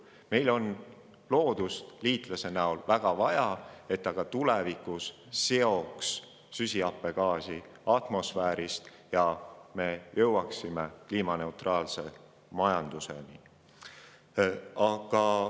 Meil on loodust liitlase näol väga vaja, et ta ka tulevikus süsihappegaasi atmosfäärist seoks ja et me jõuaksime kliimaneutraalse majanduseni.